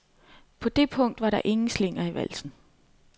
På det punkt var der ingen slinger i valsen.